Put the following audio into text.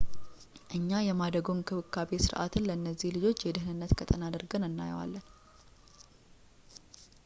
እኛ የማደጎ እንክብካቤ ሥርዓትን ለነዚህ ልጆች የደኅንነት ቀጠና አድርገን እናየዋለን